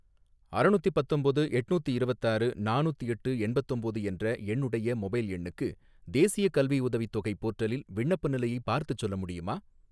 அறநூத்தி பத்தொம்போது எட்நூத்தி இரவத்தாறு நானூத்தெட்டு எண்பத்தொம்பது என்ற என்னுடைய மொபைல் எண்ணுக்கு தேசியக் கல்வியுதவித் தொகை போர்ட்டலில் விண்ணப்ப நிலையைப் பார்த்துச் சொல்ல முடியுமா?